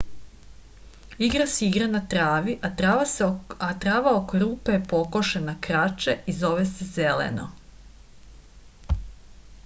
igra se igra na travi a trava oko rupe je pokošena kraće i zove se zeleno